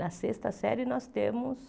Na sexta série, nós temos...